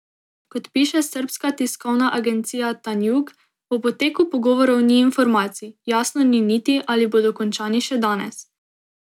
Kot piše srbska tiskovna agencija Tanjug, o poteku pogovorov ni informacij, jasno ni niti, ali bodo končani še danes.